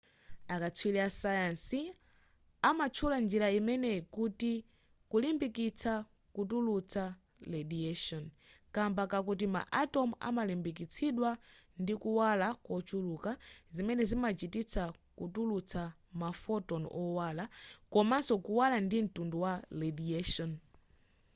akatswiri asayansi amatchula njira imeneyi kuti kulimbikitsa kutulutsa radiation kamba kakuti ma atom amalimbikitsidwa ndi kuwala kochuluka zimene zimachititsa kutulutsa ma photon owala komanso kuwala ndi mtundu wa radiation